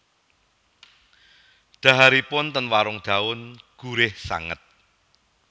Dhaharipun ten Warung Daun gurih sanget